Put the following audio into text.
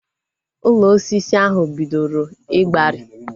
Ụlọ osisi ahu bidoro igbari